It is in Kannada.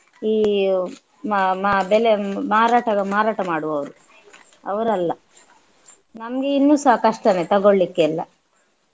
ಈ ಮ~ ಮ~ ಬೆಲೆ ಮಾರಾಟಗ~ ಮಾರಾಟ ಮಾಡುವವರು ಅವರಲ್ಲ. ನಮ್ಗೆ ಇನ್ನುಸ ಕಷ್ಟನೆ ತಗೊಳ್ಳಿಕ್ಕೆಲ್ಲ